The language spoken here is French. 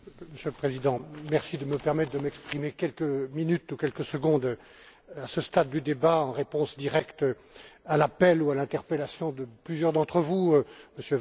Monsieur le Président, merci de me permettre de m'exprimer quelques minutes ou quelques secondes à ce stade du débat, en réponse directe à l'appel ou à l'interpellation de plusieurs d'entre vous, M.